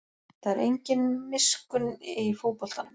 Það er engin miskunn í fótboltanum